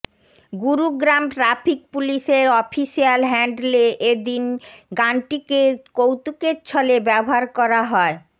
Gurugram traffic পুলিশে র official হ্যান্ডলে এদিন গানটিকে কৌতুকের ছলে ব্যবহার করা হয়